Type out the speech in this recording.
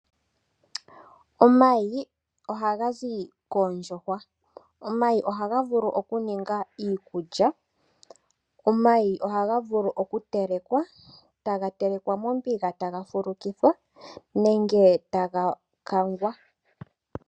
Omayi ohaga zi koondjuhwa, omayi ohaga vulu oku ningwa iikulya. Omayi ohaga vulu oku tekelwa, taga telekwa mombuga taga fulukithwa nenge taga kangwa.